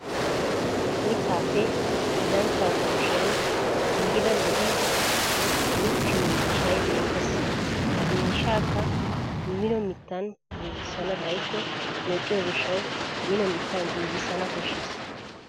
Mittaappe hillanchchaa kushiyan giigida lo'iya uttiyo miishshay beettes. Ha miishshaakka Mino mittan giigissana xayikko meqqiyo gishshawu Mino mittan giigissana koshshes.